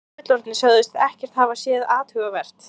Börn og fullorðnir sögðust ekkert hafa séð athugavert.